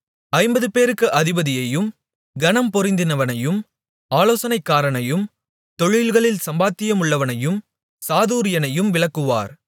ஐம்பதுபேருக்கு அதிபதியையும் கனம்பொருந்தினவனையும் ஆலோசனைக்காரனையும் தொழில்களில் சாமர்த்தியமுள்ளவனையும் சாதுரியனையும் விலக்குவார்